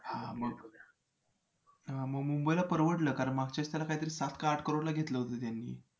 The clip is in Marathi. हां मग मग मुंबईला परवडलं कारण मागच्यावेळीस त्याला कायतरी सात आठ करोडला घेतलं होतं त्यांनी